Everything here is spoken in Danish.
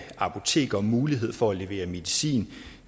apoteker mulighed for at levere medicin